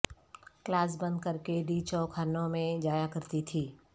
class bunk کرکے D Chowk ھرنوں میں جایاکرتی تھی